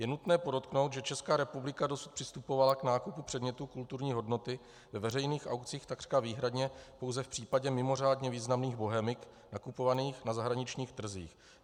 Je nutné podotknout, že Česká republika dosud přistupovala k nákupu předmětů kulturní hodnoty ve veřejných aukcích takřka výhradně pouze v případě mimořádně významných bohemik nakupovaných na zahraničních trzích.